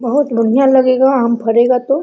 बहुत बढ़िया लगेगा आम फरेगा तो।